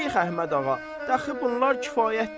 Şeyx Əhməd ağa, dəxi bunlar kifayətdir.